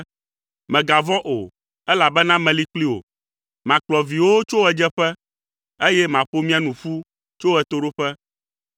Mègavɔ̃ o, elabena meli kpli wò, makplɔ viwòwo tso ɣedzeƒe, eye maƒo mia nu ƒu tso ɣetoɖoƒe.